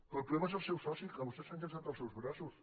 però el problema és el seu soci que vostès s’han llançat als seus braços